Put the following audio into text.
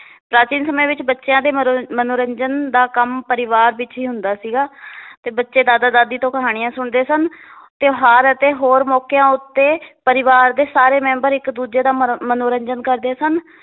ਪ੍ਰਾਚੀਨ ਸਮੇ ਵਿੱਚ ਬੱਚਿਆਂ ਦੇ ਮਨੋਰੰ~ ਮਨੋਰੰਜਨ ਦਾ ਕੰਮ ਪਰਿਵਾਰ ਵਿੱਚ ਈ ਹੁੰਦਾ ਸੀਗਾ ਤੇ ਬਚੇ ਦਾਦਾ ਦਾਦੀ ਤੋਂ ਕਹਾਣੀਆਂ ਸੁਣਦੇ ਸਨ ਤਿਓਹਾਰ ਅਤੇ ਹੋਰ ਮੌਕਿਆਂ ਉੱਤੇ ਪਰਿਵਾਰ ਦੇ ਸਾਰੇ ਮੈਂਬਰ ਇੱਕ ਦੂਜੇ ਦਾ ਮਰ~ ਮਨੋਰੰਜਨ ਕਰਦੇ ਸਨ l